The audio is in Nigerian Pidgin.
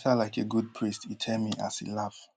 like a good priest e tell me as e laugh